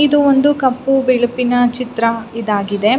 ಇದು ಒಂದು ಕಪ್ಪು ಬಿಳುಪಿನ ಚಿತ್ರ ಇದಾಗಿದೆ.